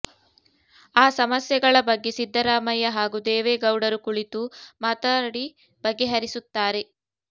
ಆ ಸಮಸ್ಯೆ ಗಳ ಬಗ್ಗೆ ಸಿದ್ದರಾಮಯ್ಯ ಹಾಗೂ ದೇವೇಗೌಡರು ಕುಳಿತು ಮಾತಾಡಿ ಬಗೆಹರಿಸುತ್ತಾರೆ